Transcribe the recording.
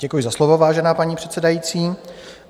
Děkuji za slovo, vážená paní předsedající.